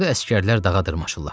Orda əsgərlər dağa dırmaşırlar.